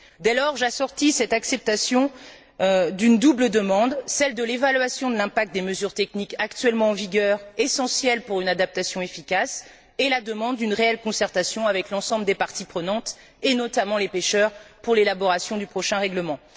Dès lors, j'assortis cette acceptation d'une double demande, celle de l'évaluation de l'impact des mesures techniques actuellement en vigueur, essentielle pour une adaptation efficace, et la demande d'une réelle concertation avec l'ensemble des parties prenantes et, notamment les pêcheurs, pour l'élaboration du prochain règlement.